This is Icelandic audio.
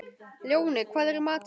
Lóni, hvað er í matinn?